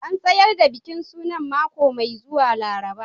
An tsayar da bikin suna a mako mai zuwa Laraba